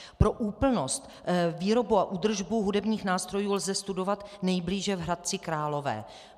Pro úplnost, výrobu a údržbu hudebních nástrojů lze studovat nejblíže v Hradci Králové.